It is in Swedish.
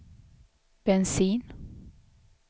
bensin